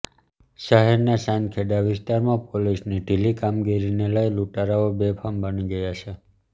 શહેરના ચાંદખેડા વિસ્તારમાં પોલીસની ઢીલી કામગીરીને લઈ લૂંટારુઓ બેફામ બની ગયા છે